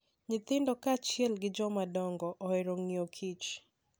Nyithindo kaachiel gi jomadongo ohero ng'iyo Kich.